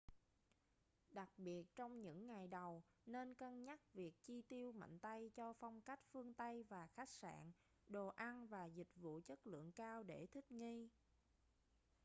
đặc biệt trong những ngày đầu nên cân nhắc việc chi tiêu mạnh tay cho phong cách phương tây và khách sạn đồ ăn và dịch vụ chất lượng cao để thích nghi